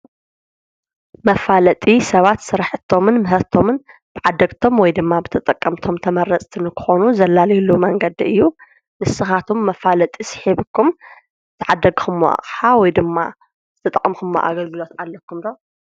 መፋለጢ ሰባት ስራሕቶምን ምህርቶምን ብዓደግቶም ወይ ድማ ብተጠቀምቶም ተመረፅቲ ንኽኮኑ ዘላሊይሉ መንገዲ እዩ፡፡ ንስኻትኩም መፋለጢ ስሒብኩም ተዕደግኹምዎ ኣቕሓ ወይ ድማ ዝተጠቐምኹምዎ ኣገግሎት ኣለኩም ዶ?